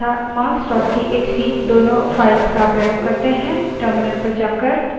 अब numbers txt तथा marks txt दोनों files का प्रयोग करते हैं